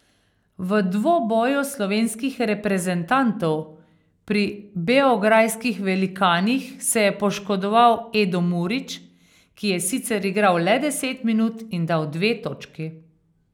V dvoboju slovenskih reprezentantov pri beograjskih velikanih se je poškodoval Edo Murić, ki je sicer igral le deset minut in dal dve točki.